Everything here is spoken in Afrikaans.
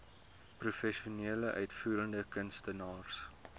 professionele uitvoerende kunstenaars